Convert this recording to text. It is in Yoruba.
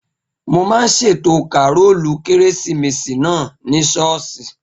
Mo máa ṣètò kàrólù kérésìmesì náà ní ṣọ́ọ̀ṣì